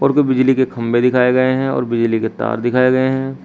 और बिजली के खंभे दिखाए गए हैं और बिजली के तार दिखाए गए हैं।